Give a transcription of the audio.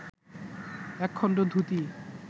একখণ্ড dhoti